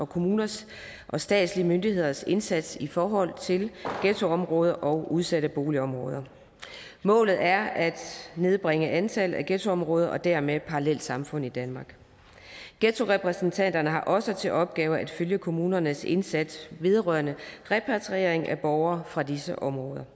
kommuners og statslige myndigheders indsats i forhold til ghettoområder og udsatte boligområder målet er at nedbringe antallet af ghettoområder og dermed parallelsamfund i danmark ghettorepræsentanterne har også til opgave at følge kommunernes indsats vedrørende repatriering af borgere fra disse områder